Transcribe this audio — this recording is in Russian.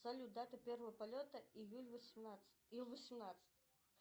салют дата первого полета ил восемнадцать